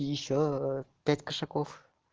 и ещё пять кошаков